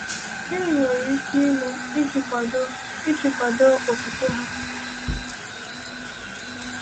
Gịnị nwere ike ime iji kwado iji kwado okwukwe ha?